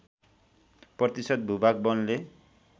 प्रतिशत भूभाग वनले